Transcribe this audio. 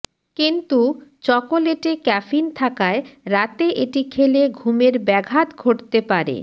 কিন্তু চকোলেটে ক্যাফিন থাকায় রাতে এটি খেলে ঘুমের ব্যাঘাত ঘটতে পারে